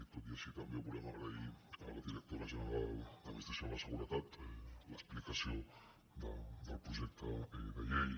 tot i així també volem agrair a la directora general d’ad ministració de la seguretat l’explicació del projecte de llei